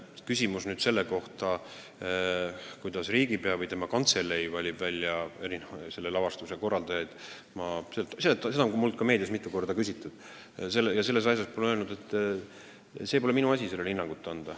See teema, kuidas riigipea või tema kantselei valib välja selle lavastuse korraldajaid – seda on mult meedias mitu korda küsitud ja ma olen öelnud, et pole minu asi sellele hinnangut anda.